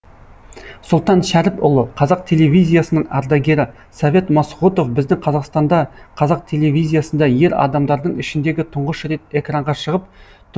сұлтан шәріпұлы қазақ телевизиясының ардагері совет масғұтов бізді қазақстанда қазақ телевизиясында ер адамдардың ішіндегі тұңғыш рет экранға шығып тұңғыш рет хабар жүргізген дикторларымыздың бірі